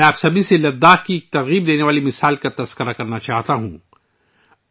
میں آپ سب کے ساتھ لداخ کی ایک متاثر کن مثال شیئر کرنا چاہتا ہوں